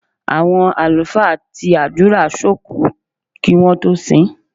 Àwọn àlùfáà ti àdúrà sókùú kí wọ́n tó sin ín.